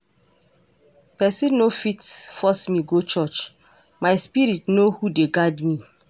Pesin no fit force me go church, my spirit know who dey guard am.